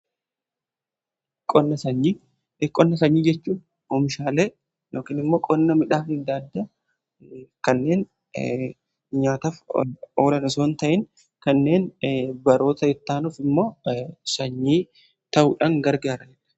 qonna sanyii, qonna sanyii jechuun omishaalee yookiniimmo qonna midhaan adda addaa kanneen nyaataf oolan osoon ta'in kanneen baroota itaanuuf immoo sanyii ta'uudhan gargaarudha